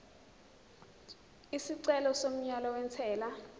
isicelo somyalo wentela